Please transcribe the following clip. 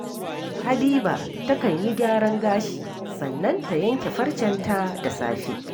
Habiba takan yi gyaran gashi, sannan ta yanke farcenta da safe